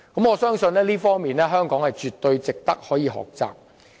我相信這方面絕對值得香港學習。